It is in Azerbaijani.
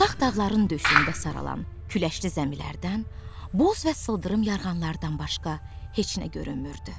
Uzaq dağların döşündə saralan küləkli zəmilərdən, boz və sıldırım yarğanlardan başqa heç nə görünmürdü.